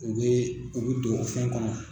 U bɛ u bɛ don o fɛn kɔnɔ.